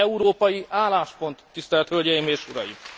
Ez egy európai álláspont, tisztelt hölgyeim és uraim!